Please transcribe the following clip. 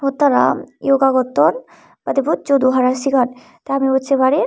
tara yoga gotton padibossodo hara sigaan tey ami iyot sei parir.